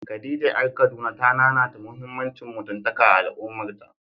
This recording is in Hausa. Khadija ƴar Kaduna ta nanata muhimmancin mutuntaka a al’ummarta.